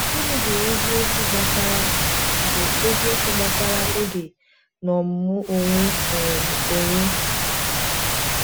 Gịnị bụ eziokwu gbasara bụ eziokwu gbasara oge na ọmụmụ onwe um onye?